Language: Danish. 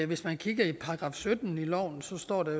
hvis man kigger i § sytten i loven så står der